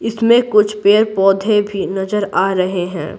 इसमें कुछ पेड़-पौधे भी नजर आ रहे हैं।